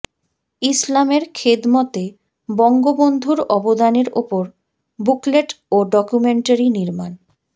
ইসলামের খেদমতে বঙ্গবন্ধুর অবদানের ওপর বুকলেট ও ডকুমেন্টারি নির্মাণ